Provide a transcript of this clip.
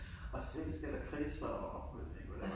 Og svenske lakridser og jeg ved ikke hvad det var